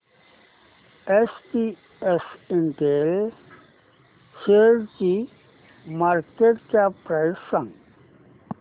SPS Intel शेअरची market cap price सांगा